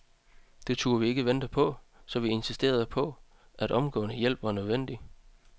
Det turde vi ikke vente på, så vi insisterede på, at omgående hjælp var nødvendig.